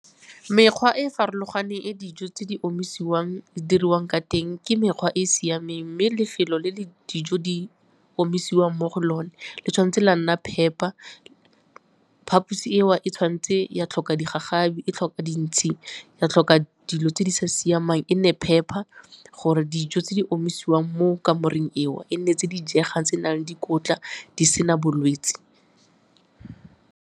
Mekgwa e e farologaneng e dijo tse di omisiwang di diriwang ka teng ke mekgwa e e siameng mme lefelo le dijo di omisiwang mo go lone le tshwanetse la nna phepa, phaposi eo e tshwanetse ya tlhoka digagabi, ya tlhoka dintshi ya tlhoka dilo tse di sa siamang e nne phepa gore dijo tse di omisiwang mo kamoreng eo e nne tse di jegang tse nang le dikotla di sena bolwetse.